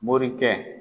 Morikɛ